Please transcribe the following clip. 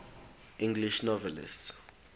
english novelists